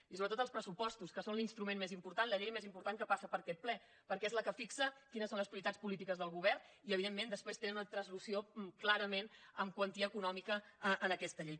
i sobretot els pressupostos que són l’instrument més important la llei més important que passa per aquest ple perquè és la que fixa quines són les prioritats polítiques del govern i evidentment després tenen una translació clarament en quantia econòmica en aquesta llei